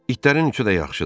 İtlərin üçü də yaxşıdır.